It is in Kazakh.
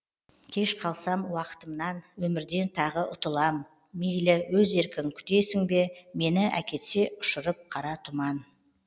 кеш қалсам уақытымнан өмірден тағы ұтылам мейлі өз еркің күтесің бе мені әкетсе ұшырып қара тұман